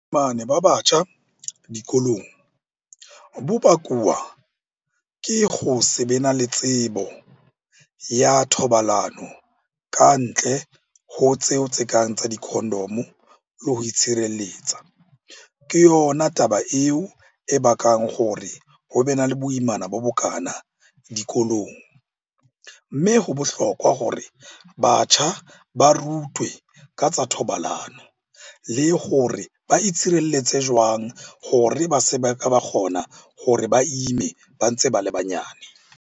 Ba batjha dikolong bo bakuwa ke go se be na le tsebo ya thobalano ka ntle ho tseo tse kang tsa di-condom-o le ho itshireletsa. Ke yona taba eo e bakang hore ho be na le boimana bo bokana dikolong. Mme ho bohlokwa hore batjha ba rutwe ka tsa thobalano le hore ba itshireletse jwang hore ba se ba ka ba kgona hore ba ime ba ntse ba le banyane.